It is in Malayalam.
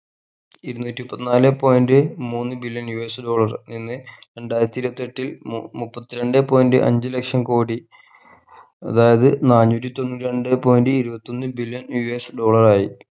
ഇരുന്നൂറ്റി മുപ്പത്തിനാലെ point മൂന്ന്‌ billion US dollar എന്ന് രണ്ടായിരത്തി ഇരുപത്തെട്ടിൽ മു മുപ്പത്തി രണ്ടേ point അഞ്ച്‌ ലക്ഷം കോടി അതായത് നാന്നൂറ്റി തൊണ്ണൂറ്റിരണ്ടേ point ഇരുപത്തിയൊന്ന് billion US dollar ആയി